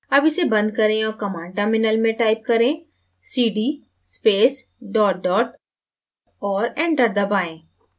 अब इसे बंद करें और command terminal में type करें: cd space dot dot और enter दबाएँ